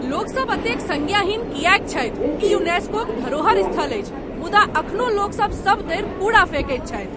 लोकसभ एतेक संज्ञाहीन किएक छथि? ई यूनेस्कोक धरोहर स्थल अछि मुदा एखनो लोकसभ सभतरि कूड़ा फेकैत छथि।